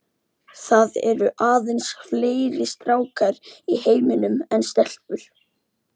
Það eru aðeins fleiri stákar í heiminum en stelpur.